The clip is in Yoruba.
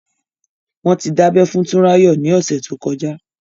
Wọ́n ti dábẹ́ fún Tunrayo ni ọ̀sẹ̀ tó kọjá.